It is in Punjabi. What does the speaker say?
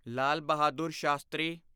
ਲਾਲ ਬਹਾਦੁਰ ਸ਼ਾਸਤਰੀ